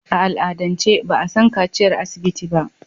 A al'adance ba a san kaciyar asibiti ba.